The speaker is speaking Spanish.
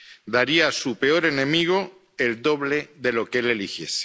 Daría a su peor enemigo el doble de lo que él eligiese.